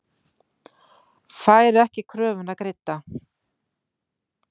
Fær ekki kröfuna greidda